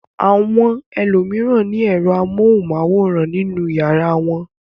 Àwọn ẹlòmíràn ní ẹ̀rọ amóhùmáwòhán nínú ìyàrá wọn.